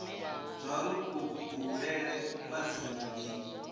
zwauri kubulele kwa dzina ndi